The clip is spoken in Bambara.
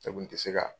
Ne kun tɛ se ka